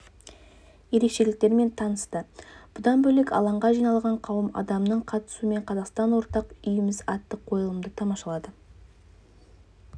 ерекшеліктерімен танысты бұдан бөлек алаңға жиналған қауым адамның қатысуымен қазақстан ортақ үйіміз атты қойылымды тамашалады